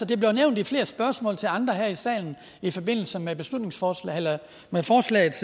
det er blevet nævnt i flere spørgsmål til andre her i salen i forbindelse med forslagets